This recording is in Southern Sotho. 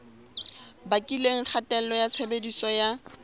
bakileng kgatello ya tshebediso ya